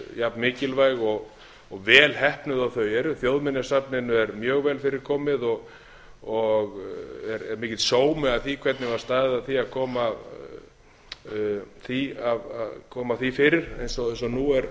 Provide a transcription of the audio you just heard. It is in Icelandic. jafn mikilvæg og vel heppnuð og þau eru þjóðminjasafninu er mjög vel fyrir komið og er mikill sómi að því hvernig var staðið að því að koma því fyrir eins og nú